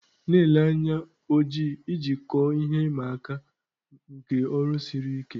Na-ele anya oji iji kọọ ihe ịma aka nke ọrụ siri ike.